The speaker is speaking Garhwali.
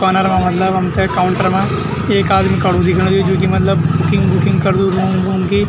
कार्नर मा मतलब हमथे काउंटर मा एक आदमी खडू दिखेणु च जू की मतलब बुकिंग -वूकिंग करदू लूगं-लूगं की।